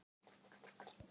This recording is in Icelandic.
Ég vil vernda hann.